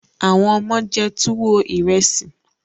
àwọn omo jé tuwo Ìrẹsì.